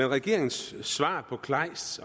regeringens svar på kleists